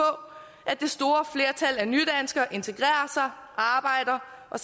at det store flertal af nydanskere integrerer sig arbejder og